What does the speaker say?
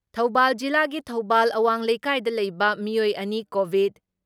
ꯊꯧꯕꯥꯜ ꯖꯤꯂꯥꯒꯤ ꯊꯧꯕꯥꯜ ꯑꯋꯥꯡ ꯂꯩꯀꯥꯏꯗ ꯂꯩꯕ ꯃꯤꯑꯣꯏ ꯑꯅꯤ ꯀꯣꯚꯤꯠ